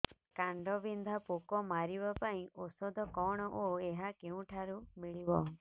କାଣ୍ଡବିନ୍ଧା ପୋକ ମାରିବା ପାଇଁ ଔଷଧ କଣ ଓ ଏହା କେଉଁଠାରୁ ମିଳିବ